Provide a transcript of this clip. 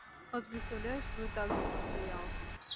вот представляешь твой также бы стоял